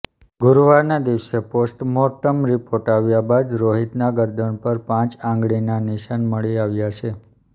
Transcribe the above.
ગુરૂવારના દિવસે postmortem report આવ્યા બાદ રોહિતના ગરદન પર પાંંચ આંગળીના નિશાન મળી આવ્યા છે